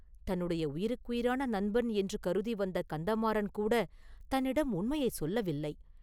தன்னுடைய உயிருக்குயிரான நண்பன் என்று கருதி வந்த கந்தமாறன் கூடத் தன்னிடம் உண்மையைச் சொல்லவில்லை.